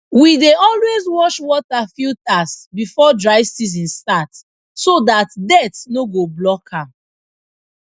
we dey always wash water filters before dry season start so dat dirt no go block am